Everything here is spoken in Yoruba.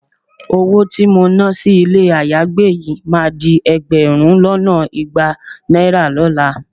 Owó tí mo náà sí ilé ayágbé yìí máa di ẹgbẹ̀rún lọ́nà igba náírà lọ́la